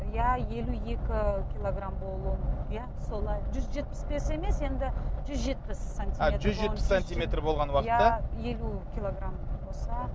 иә елу екі килограмм болу иә солай жүз жетпіс бес емес енді жүз жетпіс а жүз жетпіс сантиметр болған уақытта елу килограмм болса